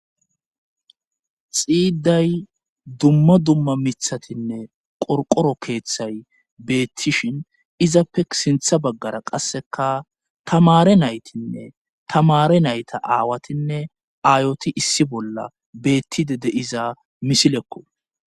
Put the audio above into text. Xiiday dumma dumma mithatinne qorqoro keeththay beettishin izappe sintha baggara qasseka tamare naytinne tamare nayta aawatinne aayoti issi bolla beettide de iza misilekko